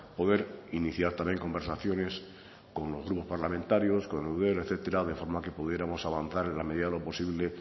poder iniciar también conversaciones con los grupos parlamentarios con eudel etcétera de forma que pudiéramos avanzar en la medida de lo posible